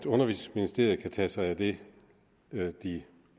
undervisningsministeriet kan tage sig af det de